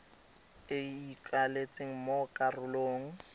e e ikaeletsweng mo karolong